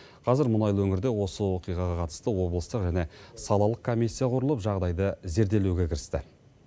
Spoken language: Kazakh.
қазір мұнайлы өңірде осы оқиғаға қатысты облыстық және салалық комиссия құрылып жағдайды зерделеуге кірісті